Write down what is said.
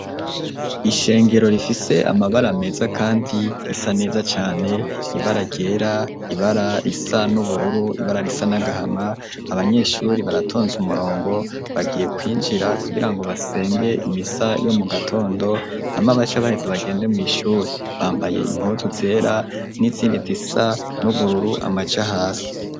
Ishengero rifise amabara meza kandi risa neza cane ibara ryera ibara risa n'ubururu ibara risa n'agahama abanyeshuri baratonze umurongo bagiye kwinjira kugirango basenge imisa yo mu gatondo hama bace baheze bagende mw'ishuri, bambaye impuzu zera n'izindi zisa n'ubururu amaja hasi.